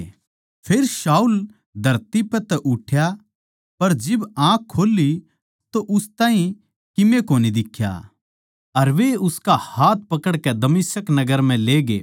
फेर शाऊल धरती पै तै उठ्या पर जिब आँख खोल्ली तो उस ताहीं किमे कोनी दिख्या अर वे उसका हाथ पकड़कै दमिश्क नगर म्ह ले गये